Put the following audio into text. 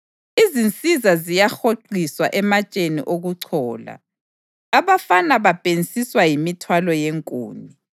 Izinsizwa ziyahoqiswa ematsheni okuchola; abafana babhensiswa yimithwalo yenkuni.